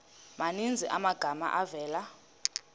maninzi amagama avela